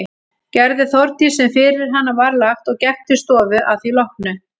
Gerði Þórdís sem fyrir hana var lagt og gekk til stofu að því loknu.